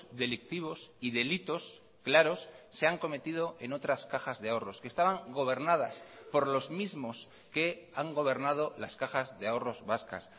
delictivos y delitos claros se han cometido en otras cajas de ahorros que estaban gobernadas por los mismos que han gobernado las cajas de ahorros vascas